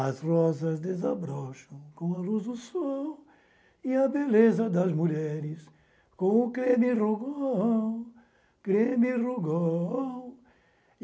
As rosas desabrocham com a luz do sol e a beleza das mulheres com o creme rougol, creme rougol.